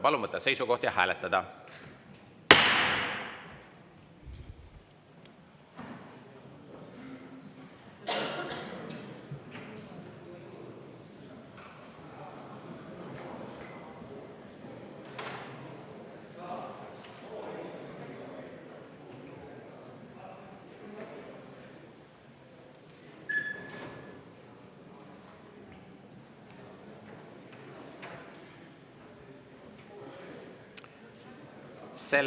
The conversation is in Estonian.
Palun võtta seisukoht ja hääletada!